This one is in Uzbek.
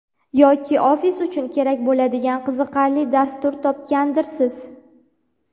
Yoki ofis uchun kerak bo‘ladigan qiziqarli dastur topgandirsiz.